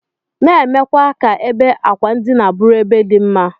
Na emekwa ka ebe akwandina buru ebe di mma.